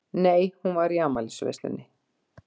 Nei, hún var í afmælisveislunni.